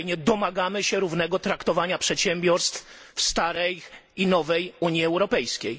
Domagamy się równego traktowania przedsiębiorstw w starej i nowej Unii Europejskiej.